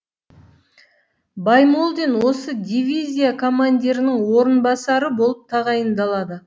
баймолдин осы дивизия командирінің орынбасары болып тағайындалады